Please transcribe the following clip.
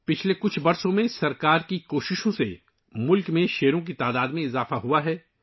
گزشتہ چند سالوں میں حکومت کی کوششوں سے ملک میں شیروں کی تعداد میں اضافہ ہوا ہے